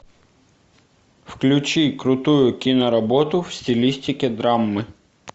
включи крутую киноработу в стилистике драмы